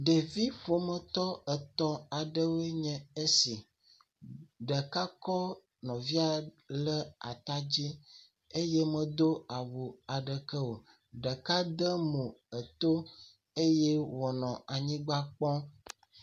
Ɖevi ƒometɔ etɔ̃ aɖewoe nye esi, ɖeka kɔ ɖeka le ata dzi eye medo awu aɖeke, ɖeka de mo eto eye wònɔ anyigba kpɔɔ.